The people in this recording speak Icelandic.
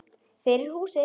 Fyrir húsið.